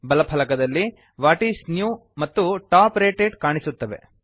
ಬಲ ಫಲಕದಲ್ಲಿ what's new ಮತ್ತು ಟಾಪ್ ರೇಟೆಡ್ ಕಾಣಿಸುತ್ತವೆ